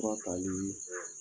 Fura talii tɛ